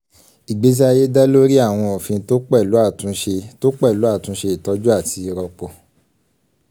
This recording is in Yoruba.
ìgbésí ayé dá lórí àwọn òfin tó pẹ̀lú àtúnṣe tó pẹ̀lú àtúnṣe ìtọ́jú àti ìrọ́pò.